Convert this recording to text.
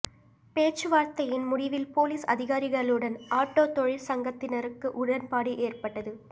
பேச்சுவார்த்தையின் முடிவில் போலீஸ் அதிகாரிகளுடன் ஆட்டோ தொழிற்சங்கத்தினருக்கு உடன்பாடு ஏற்பட்டது